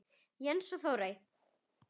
Jens og Þórey.